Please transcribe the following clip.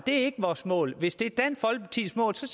det er ikke vores mål hvis det er dansk folkepartis mål så